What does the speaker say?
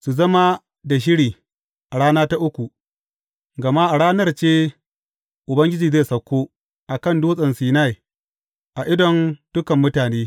Su zama da shiri a rana ta uku, gama a ranar ce Ubangiji zai sauko a kan Dutsen Sinai a idon dukan mutane.